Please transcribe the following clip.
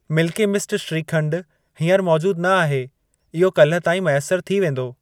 Milky Mist shrikhand हीअंर मौजूद न आहे, इहो काल्ह ताईं मैसर थी वेंदो।